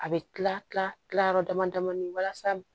A bɛ kila kila kila yɔrɔ dama dama ni walasa